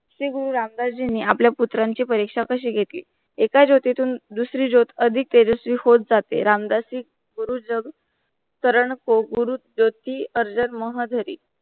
श्री गुरु रामदास जींनी आपल्या पुत्रांच्या परीक्षा कशी घेतली ऐका जोती तुन दुसरी जोत अधिक तेजस्वी होत जाते. रामसदास जी गुरु जब गुरु ज्योती अर्जात मोहदारी